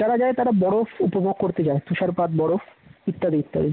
যারা যায় তারা বরফ উপভোগ করতে যায় তুষারপাত বরফ ইত্যাদি ইত্যাদি